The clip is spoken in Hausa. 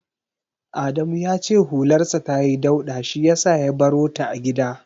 Adamu ya ce hularsa tayi dauɗa shi yasa ya barota a gida.